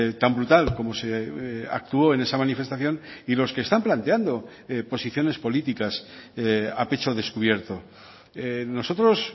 tan brutal como se actúo en esa manifestación y los que están planteando posiciones políticas a pecho descubierto nosotros